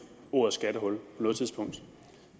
ordet skattehul på noget tidspunkt